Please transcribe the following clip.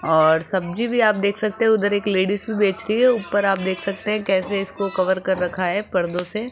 और सब्जी भी आप देख सकते हैं उधर एक लेडिज भी बेच रही है ऊपर आप देख सकते हैं कैसे इसको कवर कर रखा है पर्दों से।